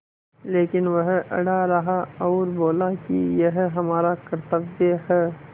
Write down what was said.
लेकिन वह अड़ा रहा और बोला कि यह हमारा कर्त्तव्य है